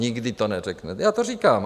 Nikdy to neřeknete, já to říkám.